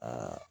Aa